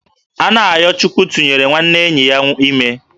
Anayochukwu tụnyere nwanne enyi ya ime